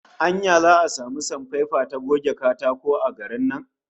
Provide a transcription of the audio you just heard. Anya za'a samu sanpepa ta goge katako a garin nan?